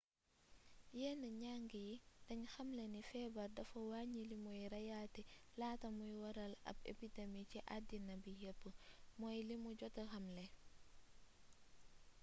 yenn njang yi dañ xamle ni feebar dafa wàññi limuy reyaate laata muy waral ab epidemi ci addina bi yépp mooy limu jota xamle